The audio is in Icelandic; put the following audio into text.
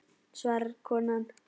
svarar konan.